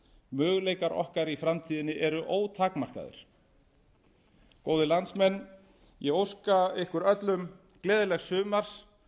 möguleikar okkar í framtíðinni eru ótakmarkaðir góðir landsmenn ég óska ykkur öllum gleðilegs sumars